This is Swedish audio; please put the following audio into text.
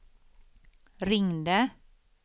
ringde